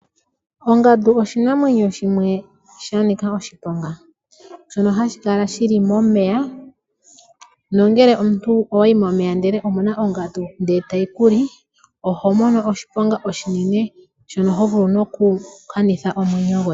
Ongandu oshinamwenyo shimwe sha Nika oshiponga ,nongele owayi momeya nde omuna ongandu etayi kuli oho mono oshiponga oshinene shono ho vulu noku kanitha nomwenyo gwoye.